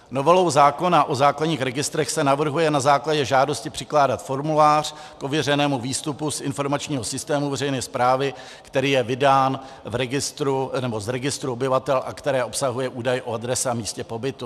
Novelou zákona o základních registrech se navrhuje na základě žádosti přikládat formulář k ověřenému výstupu z informačního systému veřejné správy, který je vydán z registru obyvatel a který obsahuje údaj o adrese a místě pobytu.